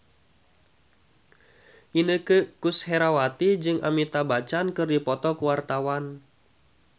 Inneke Koesherawati jeung Amitabh Bachchan keur dipoto ku wartawan